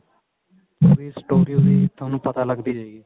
ਓਵੀੰ story ਉਹਦੀ ਥੋਨੂੰ ਪਤਾ ਲਗਦੀ ਜਾਏਗੀ